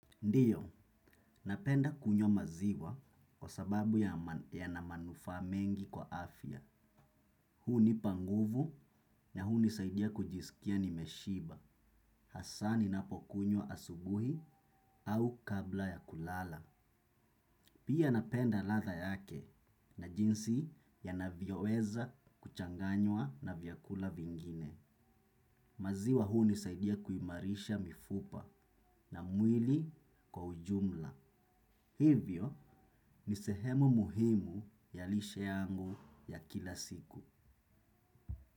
Ndio, napenda kunywa maziwa kwa sababu yana manufaa mengi kwa afya. Hunipa nguvu na hunisaidia kujisikia ni meshiba. Hasa ninapokunyo asubuhi au kabla ya kulala. Pia napenda ladha yake na jinsi yanavyoweza kuchanganywa na vyakula vingine. Maziwa hunisaidia kuimarisha mifupa na mwili kwa ujumla. Hivyo ni sehemu muhimu ya lishe yangu ya kila siku.